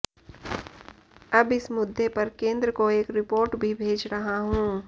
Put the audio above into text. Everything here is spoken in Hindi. अब इस मुद्दे पर केंद्र को एक रिपोर्ट भी भेज रहा हूं